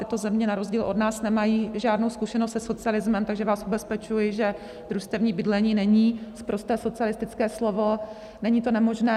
Tyto země na rozdíl od nás nemají žádnou zkušenost se socialismem, takže vás ubezpečuji, že družstevní bydlení není sprosté socialistické slovo, není to nemožné.